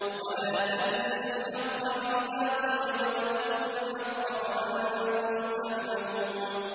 وَلَا تَلْبِسُوا الْحَقَّ بِالْبَاطِلِ وَتَكْتُمُوا الْحَقَّ وَأَنتُمْ تَعْلَمُونَ